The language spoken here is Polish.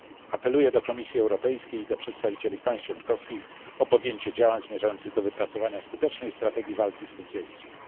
Apeluję do Komisji Europejskiej i do przedstawicieli państw członkowskich o podjęcie działań zmierzających do wypracowania skutecznej strategii walki z tym zjawiskiem.